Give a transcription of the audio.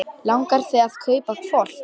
Langar þig að kaupa hvolp?